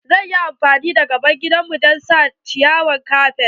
Zai yi amfani da gaban gida don sa ciyawar kafet.